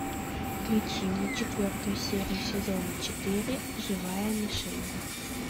включи мне четвертую серию сезона четыре живая мишень